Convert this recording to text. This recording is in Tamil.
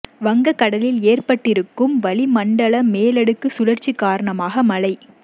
வங்க கடலில் ஏற்பட்டு இருக்கும் வளிமண்டல மேலடுக்கு சுழற்சி காரணமாக மழை